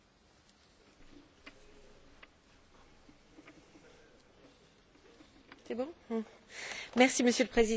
Monsieur le Président, Messieurs les Commissaires, mes chers collègues, nous sommes à un moment charnière du débat sur l'avenir du Fonds social européen.